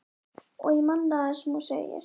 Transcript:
Og ég man það sem hún segir.